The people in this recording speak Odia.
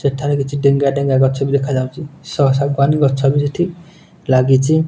ସେଠାରେ କିଛି ଡେଙ୍ଗା ଡେଙ୍ଗା ଗଛ ବି ଦେଖା ଯାଉଚି। ସ ଶାଗୁଆନ୍ ଗଛ ବି ସେଠି ଲାଗିଚି।